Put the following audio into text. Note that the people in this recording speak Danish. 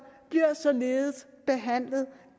bliver således behandlet